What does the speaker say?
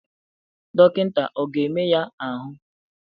Dọkịta ọ ga-eme ya ahụ?